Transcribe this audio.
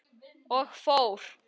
Og fór.